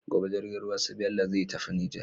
Gobe jirgin ruwan su bello zai tafi niger